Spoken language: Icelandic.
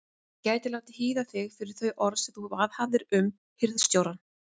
Ég gæti látið hýða þig fyrir þau orð sem þú viðhafðir um hirðstjórann.